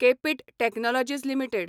KPIT technologies limited